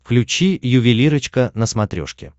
включи ювелирочка на смотрешке